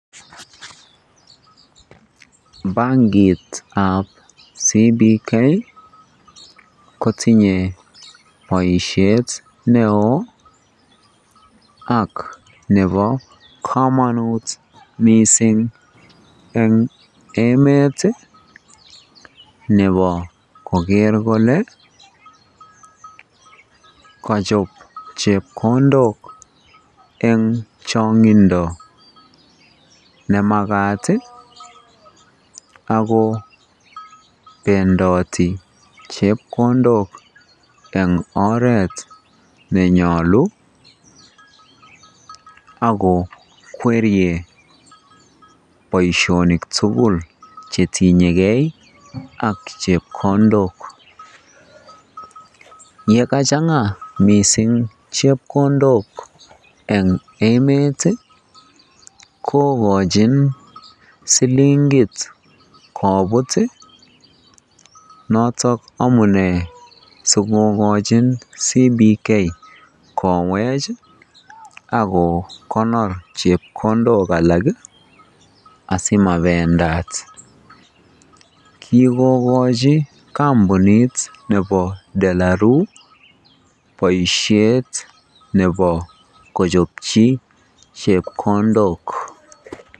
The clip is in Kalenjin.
Bankitab CBK kotinye boishet neo ak nebo komonut eng emet nebo koker kolee kochob chepkondok en chokyinet nemakat ak ko bendoti chepkondok en oreet nenyolu ak ko kwerie boishonik tukul chetinyeke ak chepkondok, yekachanga mising chepkondok eng emet kokochin silingit kobut notok amune sikokochin CBK kowech ak kokonor chepkondok alak asimabendaat, kikokochi kombunit nebo delaru boishet nebo kochobchi chepkondok.